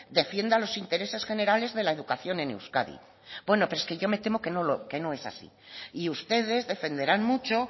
defienda los intereses generales de la educación en euskadi bueno pero es que yo me temo que no es así y ustedes defenderán mucho